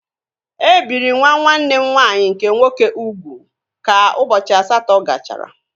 E biri nwa nwanne m nwaanyị nke nwoke ugwu ka ụbọchị asatọ gachara